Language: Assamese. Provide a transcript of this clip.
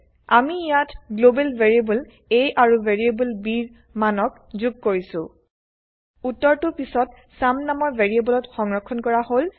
আমি ইয়াত গ্লোবেল ভেৰিয়েবল a আৰু ভেৰিয়েবল bৰ মানক যোগ কৰিছো ঊত্তৰটো পিছত চুম নামৰ ভেৰিয়েবলত সংৰক্ষন কৰা হল